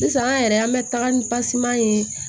Sisan an yɛrɛ an bɛ taga ni ye